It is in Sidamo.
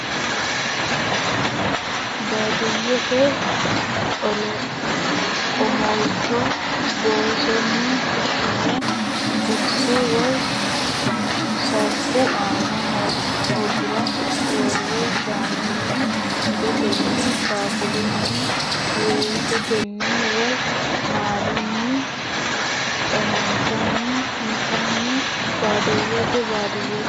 Baadiyyete omolcho boosonni fushshine qorete woy saffu aana hogira worre shaanunni adotenni baaqulunni wahetenni woy maalunni qaammanni intanni Baadiyyete Baadiyyete.